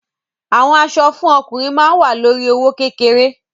Àwọn aṣọ fún ọkùnrin ma wa lórí i owó kékeré.